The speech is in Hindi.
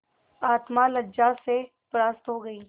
आत्मा लज्जा से परास्त हो गयी